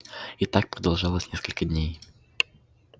и так продолжалось несколько дней